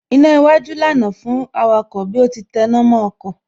Iná iwájú ọkọ̀ lànà fún awakọ̀ bí ó ti tẹná mọ́ ọkọ̀